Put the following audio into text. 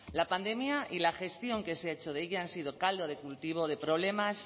la pandemia y la gestión que se ha hecho de ella han sido caldo de cultivo de problemas